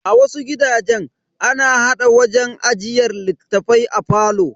A wasu gidajen, ana hada wajen ajiyar littafai a falo.